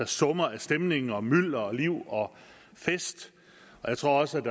summer af stemning og mylder og liv og fest jeg tror også